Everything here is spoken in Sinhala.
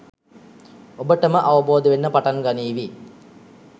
ඔබට ම අවබෝධ වෙන්න පටන් ගනීවි